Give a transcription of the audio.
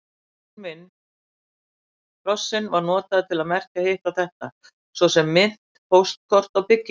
Krossinn var notaður til merkja hitt og þetta, svo sem mynt, póstkort og byggingar.